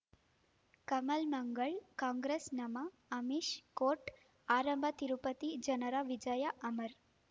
ಕಮಲ್ ಮಂಗಳ್ ಕಾಂಗ್ರೆಸ್ ನಮಃ ಅಮಿಷ್ ಕೋರ್ಟ್ ಆರಂಭ ತಿರುಪತಿ ಜನರ ವಿಜಯ ಅಮರ್